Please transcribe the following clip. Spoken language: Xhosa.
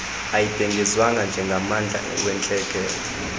ayibhengezwanga njengommandla wentlekele